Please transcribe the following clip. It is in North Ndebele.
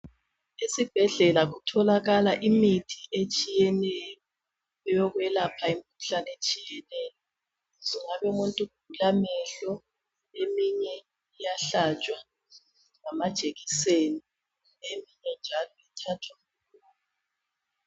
Esibhedlela kutholakala imithi etshiyeneyo eyelapha imikhuhlane etshiyeneyo. Sokungabe umuntu ugula amehlo eminye iyahlatshwa ngamajekiseni.